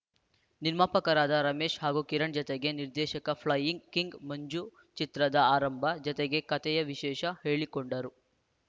ನಿರ್ಮಾಪಕರಾದ ರಮೇಶ್‌ ಹಾಗೂ ಕಿರಣ್‌ ಜತೆಗೆ ನಿರ್ದೇಶಕ ಫ್ಲೈಯಿಂಗ್‌ ಕಿಂಗ್‌ ಮಂಜು ಚಿತ್ರದ ಆರಂಭ ಜತೆಗೆ ಕತೆಯ ವಿಶೇಷ ಹೇಳಿಕೊಂಡರು